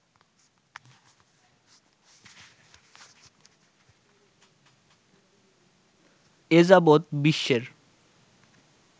এ যাবৎ বিশ্বের